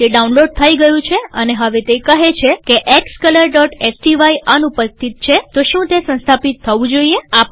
તે ડાઉનલોડ થઇ ગયું છે અને હવે કહે છે કે xcolorસ્ટાય અનુપસ્થિત છેશું તે સંસ્થાપિત થવું જોઈએ